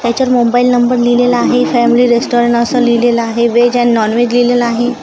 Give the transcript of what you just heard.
त्याच्यात mobile number लिहिलेला आहे फॅमिली रेस्टॉरन असं लिहिलेलं आहे व्हेज ॲण्ड नॉनव्हेज लिहिलेलं आहे.